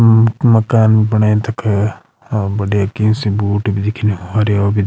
मकान बणयु तख और बढ़िया की सी बूट भी दिखणी हरयो भी --